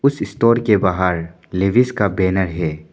इस स्टोर के बाहर लेविस का बैनर है।